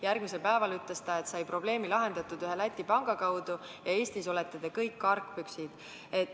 Järgmisel päeval ütles ta, et sai probleemi lahendatud ühe Läti panga kaudu ja et Eestis olete te kõik argpüksid.